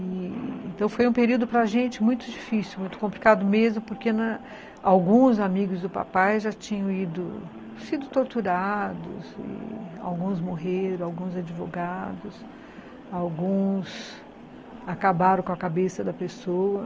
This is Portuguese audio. Então foi um período para gente muito difícil, muito complicado mesmo, porque alguns amigos do papai já tinham sido torturados, alguns morreram, alguns advogados, alguns acabaram com a cabeça da pessoa.